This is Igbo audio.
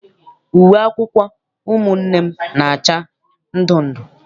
Uwe akwụkwọ ụmụnne m na-acha ndundu.